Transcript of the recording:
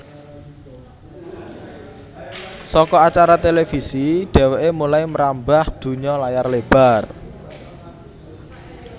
Saka acara Televisi dheweké mulai mrambah dunya layar lebar